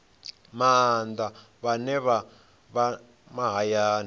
maanḓa vhane vha vha mahayani